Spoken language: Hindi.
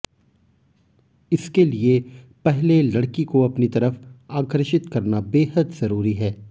इसके लिए पहले लड़की को अपनी तरफ आकर्षित करना बेहद जरूरी है